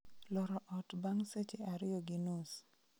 loro ot bang' seche ariyo gi nus